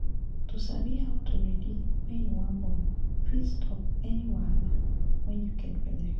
to sabi how to ready when you wan born fit stop any wahala wen you get belle